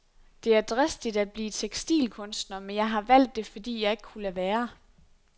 Det er dristigt at blive tekstilkunstner, men jeg har valgt det, fordi jeg ikke kunne lade være.